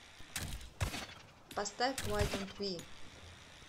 поставь вай донт ви